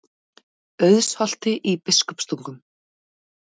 Auðsholti í Biskupstungum.